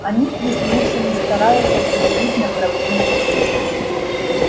они прислушались стараясь определить направление звука